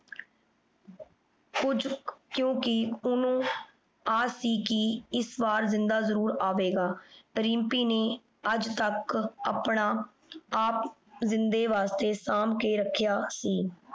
ਕ੍ਯੂ ਕੀ ਓਹਨੁ ਆਸ ਸੀ ਕੀ ਏਸ ਵਾਰ ਜਿੰਦਾ ਜ਼ਰੁਰ ਅਵੇ ਗਾ ਰਿਮ੍ਪੀ ਨੇ ਆਜ ਤਕ ਆਪਣਾ ਆਪ ਜਿੰਦੇ ਵਾਸਤੇ ਸੰਭਾਲ ਕੇ ਰਖ੍ਯਾ ਸੀ